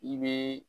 I bɛ